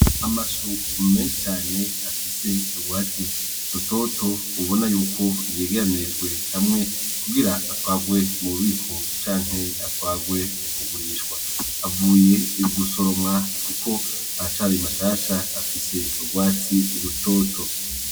Amashu mmee cane afise ubwatsi rutoto ubona yuko yegeranirijwe hamwe kugira atwagwe mu bubiko cante atwagwe kugurishwa avuye igusoromwa, kuko ahacari mashasha afise ubwatsi lutoto.